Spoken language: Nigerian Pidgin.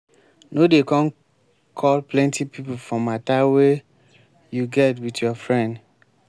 no dey come call plenty pipo for matter wey you get with your friend.